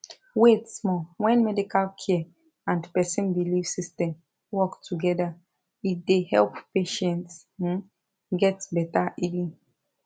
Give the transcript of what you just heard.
wait small when medical care and person belief system work together e dey help patients um get better healing